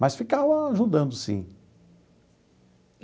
Mas ficava ajudando, sim.